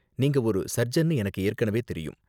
நீங்க ஒரு சர்ஜன்னு எனக்கு ஏற்கனவே தெரியும்.